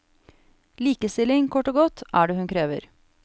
Likestilling, kort og godt, er det hun krever.